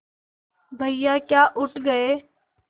भैया क्या उठ गये